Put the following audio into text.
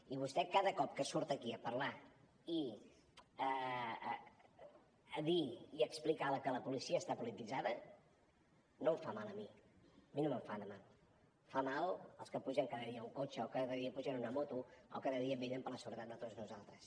i vostè cada cop que surt aquí a parlar i a dir i a explicar que la policia està polititzada no em fa mal a mi a mi no me’n fa de mal fa mal als que pugen cada dia a un cotxe o cada dia pugen a una moto o cada dia vetllen per la seguretat de tots nosaltres